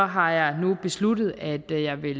har jeg nu besluttet at jeg vil